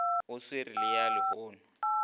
o sware le ya lenono